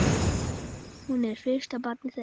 Hún er fyrsta barn þeirra.